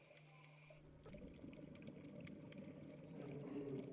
হ্যাঁ জি জি